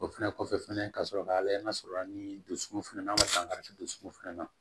O fɛnɛ kɔfɛ fɛnɛ ka sɔrɔ ka layɛ n'a sɔrɔ la ni dusukolo fɛnɛ na an ma dusukun fɛnɛ na